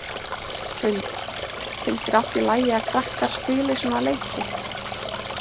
Hrund: Finnst þér allt í lagi að krakkar spili svona leiki?